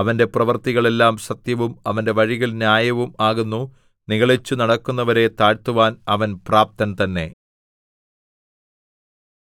അവന്റെ പ്രവൃത്തികൾ എല്ലാം സത്യവും അവന്റെ വഴികൾ ന്യായവും ആകുന്നു നിഗളിച്ചു നടക്കുന്നവരെ താഴ്ത്തുവാൻ അവൻ പ്രാപ്തൻ തന്നെ